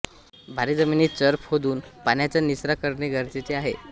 भारी जमिनीत चर खोदून पाण्याचा निचरा करणे गरजेचे आहे